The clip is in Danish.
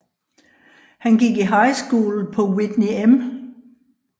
Han gik i high school på Whitney M